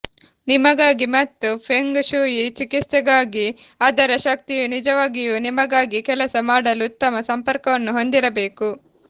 ನಿಮಗಾಗಿ ಮತ್ತು feng shui ಚಿಕಿತ್ಸೆಗಾಗಿ ಅದರ ಶಕ್ತಿಯು ನಿಜವಾಗಿಯೂ ನಿಮಗಾಗಿ ಕೆಲಸ ಮಾಡಲು ಉತ್ತಮ ಸಂಪರ್ಕವನ್ನು ಹೊಂದಿರಬೇಕು